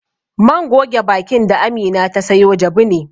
Man goge bakin da Amina ta sayo jabu ne.